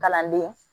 Kalanden